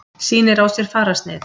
Sýnir á sér fararsnið.